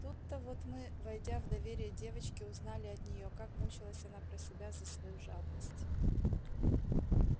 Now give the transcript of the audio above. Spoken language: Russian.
тут-то вот мы войдя в доверие девочки узнали от неё как мучилась она про себя за свою жадность